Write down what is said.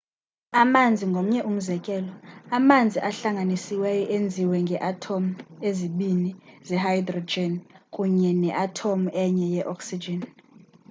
amanzi ngomnye umzekelo amanzi ahlanganisiweyo enziwe ngee athomu ezibini ze-hydrogen kunye ne athomu enye ye-oxygen